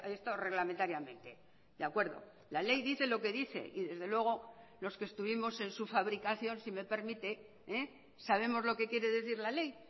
esto reglamentariamente de acuerdo la ley dice lo que dice y desde luego los que estuvimos en su fabricación si me permite sabemos lo que quiere decir la ley